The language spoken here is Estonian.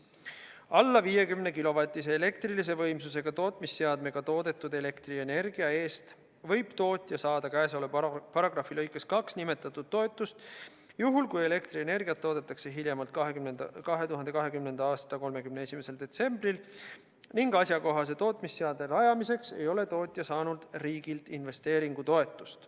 "Alla 50 kW elektrilise võimsusega tootmisseadmega toodetud elektrienergia eest võib tootja saada käesoleva paragrahvi lõikes 2 nimetatud toetust juhul, kui elektrienergiat toodetakse hiljemalt 2020. aasta 31. detsembril ning asjakohase tootmisseadme rajamiseks ei ole tootja saanud riigilt investeeringutoetust.